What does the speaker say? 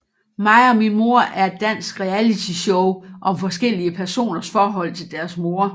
Mig og min mor er et dansk realityshow om forskellige personers forhold til deres mor